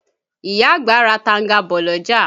Ìyá àgbà ra tanga bọ̀ l'ọ́jà.